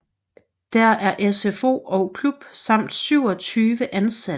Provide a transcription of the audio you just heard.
Der er SFO og klub samt 27 ansatte